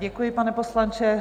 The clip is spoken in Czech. Děkuji, pane poslanče.